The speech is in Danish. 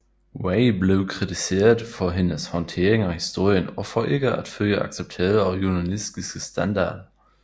Way blev kritiseret for hendes håndtering af historien og for ikke at følge accepterede journalistiske standarder